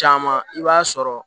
Caman i b'a sɔrɔ